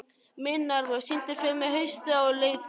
Minerva, syngdu fyrir mig „Haustið á liti“.